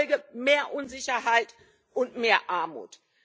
Die Folge mehr Unsicherheit und mehr Armut.